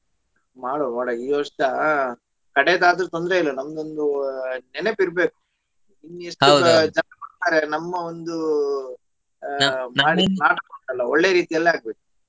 ಮಾಡುವಾ ಮಾಡುವಾ ಈ ವರ್ಷ ಕಡೆದಾದ್ರೂ ತೊಂದರೆ ಇಲ್ಲಾ ನಂದೊಂದು ಅಹ್ ನೆನಪು ಇರಬೇಕು ಇನ್ನು ಎಷ್ಟು ಜನ ಬರ್ತಾರೊ ನಮ್ಮ ಒಂದು ಆ ಮಾಡುವ ನಾಟಕ ಉಂಟಲ್ಲಾಒಳ್ಳೆ ರೀತಿಯಲ್ಲಿ ಆಗಬೇಕು.